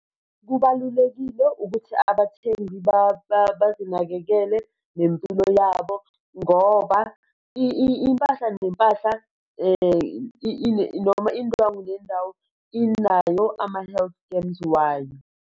Kubalulekile ukuthi abathengi bazinakekele nempilo yabo ngoba impahla nempahla noma indwo nendawo inayo ama-health schemes wayo.